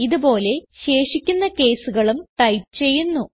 ഇത് പോലെ ശേഷിക്കുന്ന caseകളും ടൈപ്പ് ചെയ്യുന്നു